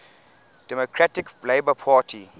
democratic labour party